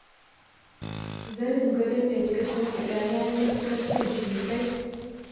Zanin gadon da kika shimfiɗa ya yi matuƙar kyau sosai